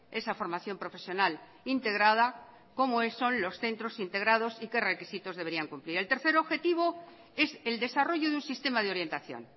esa formación profesional integrada cómo son los centros integrados y qué requisitos deberían cumplir el tercer objetivo es el desarrollo de un sistema de orientación